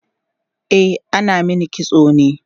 e ana Mani kitso ne